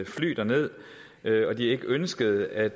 fly derned og at de ikke ønskede at